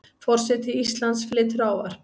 Forseti Íslands flytur ávarp.